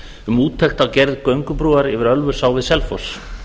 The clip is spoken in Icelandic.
um úttekt á gerð göngubrúar yfir ölfusá við selfoss